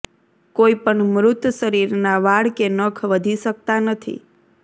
કોઈ પણ મૃત શરીરના વાળ કે નખ વધી શકતા નથી